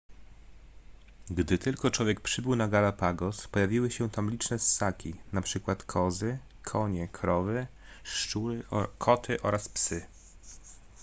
gdy tylko człowiek przybył na galapagos pojawiły się tam liczne ssaki np kozy konie krowy szczury koty oraz psy